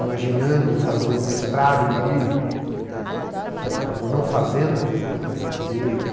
Imaginando fazer um mestrado no Rio, né, que ela acabou não fazendo por conta da gravidez,